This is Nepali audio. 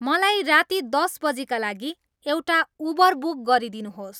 मलाई राति दस बजीका लागि एउटा उबर बुक गरिदिनुहोस्